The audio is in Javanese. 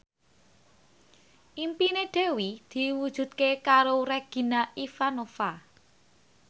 impine Dewi diwujudke karo Regina Ivanova